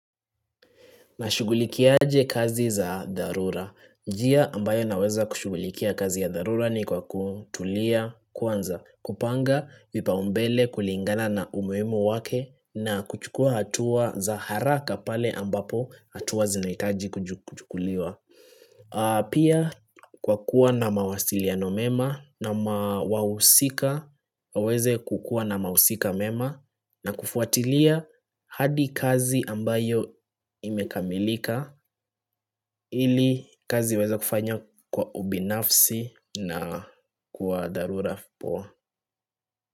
Nashugulikia aje kazi za dharura. Njia ambayo naweza kushugulikia kazi ya darura ni kwa kutulia kwanza, kupanga vipaumbele kulingana na umuhimu wake na kuchukua hatua za haraka pale ambapo hatua zinahitaji kuchukuliwa. Pia kwa kuwa na mawasiliano mema na mawahusika waweze kukuwa na mawahusika mema na kufuatilia hadi kazi ambayo imekamilika ili kazi iweze kufanywa kwa ubinafsi na kwa dharura vipoa.